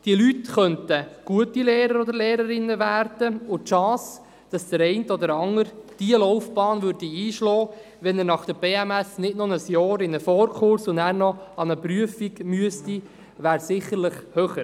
Diese Leute könnten gute Lehrerinnen oder Lehrer werden, und die Chance, dass der eine oder der andere diese Laufbahn einschlägt, wenn er nach der BMS nicht noch ein Jahr in einen Vorkurs und dann noch an eine Prüfung müsste, wäre sicherlich höher.